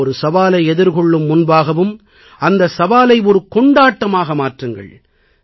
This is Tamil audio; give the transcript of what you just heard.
ஒவ்வொரு சவாலை எதிர்கொள்ளும் முன்பாகவும் அந்தச் சவாலை கொண்டாட்டமாக மாற்றுங்கள்